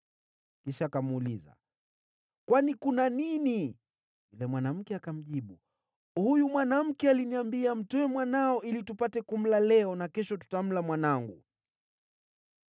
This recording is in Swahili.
Kisha akamuuliza, “Kwani kuna nini?” Yule mwanamke akamjibu, “Huyu mwanamke aliniambia, ‘Mtoe mwanao ili tupate kumla leo, na kesho tutamla mwanangu.’